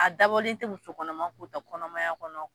A dabɔlen tɛ musokɔnɔma' k'o ta kɔnɔmaya kɔnɔ